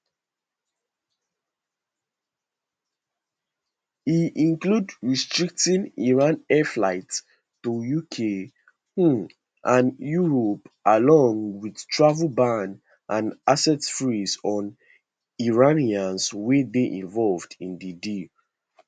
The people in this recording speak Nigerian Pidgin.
e include restricting iran air flights to uk um and europe along wit travel ban and asset freeze on iranians wey dey involved in di deal